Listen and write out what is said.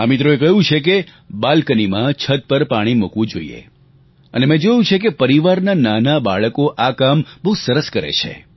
આ મિત્રોએ કહ્યું છે કે બાલ્કનીમાં છત પર પાણી મૂકવું જોઈએ અને મેં જોયું છે કે પરિવારનાં નાનાં બાળકો આ કામ બહુ સરસ કરે છે